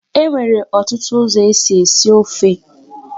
E nwere ọtụtụ ụzọ e si esi ofe.